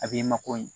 A b'i mako ɲɛ